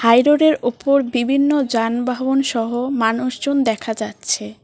High রোডের ওপর বিবিন্ন যানবাহন সহ মানুষজন দেখা যাচ্ছে।